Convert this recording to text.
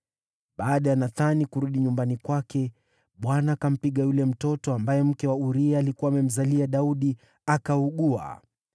Baada ya Nathani kurudi nyumbani kwake, Bwana akampiga yule mtoto ambaye mke wa Uria alikuwa amemzalia Daudi, akaugua.